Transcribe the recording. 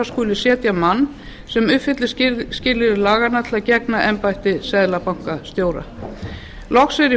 skuli setja mann sem uppfylli skilyrði laganna til að gegna embætti seðlabankastjóra loks er í